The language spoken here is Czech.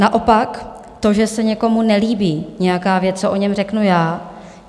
Naopak to, že se někomu nelíbí nějaká věc, co o něm řeknu já.